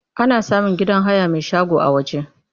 Ana samun gidan haya mai shago a waje.